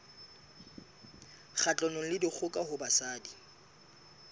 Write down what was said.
kgahlanong le dikgoka ho basadi